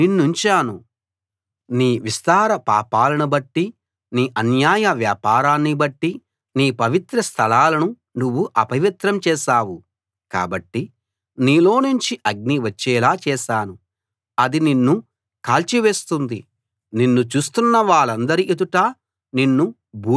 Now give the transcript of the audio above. నీ విస్తార పాపాలను బట్టి నీ అన్యాయ వ్యాపారాన్ని బట్టి నీ పవిత్ర స్థలాలను నువ్వు అపవిత్రం చేశావు కాబట్టి నీలోనుంచి అగ్ని వచ్చేలా చేశాను అది నిన్ను కాల్చివేస్తుంది నిన్ను చూస్తున్నవాళ్ళందరి ఎదుట నిన్ను బూడిదగా చేస్తాను